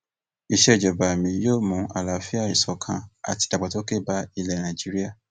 ìsejọba mi yóò mú àlàáfíà ìṣọkan àti ìdàgbàsókè bá ilẹ nàíjíríà